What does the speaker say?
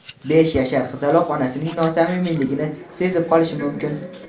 besh yashar qizaloq onasining nosamimiyligini sezib qolishi mumkin.